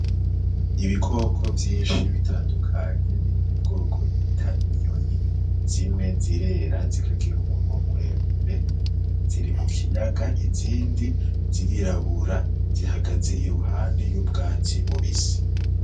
Ibikoko vyinshi bitandukanye biri mu bwoko bita inyoni, zimwe zirera zikagira umunwa muremure, ziri mu kiyaga izindi zirirabura zihagaze iruhande y'ubwatsi bubisi.